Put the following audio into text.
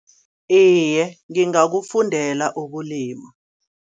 Iye ngingakufundela ukulima.